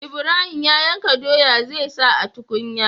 Ibrahim ya yanka doya zai sa a tukunya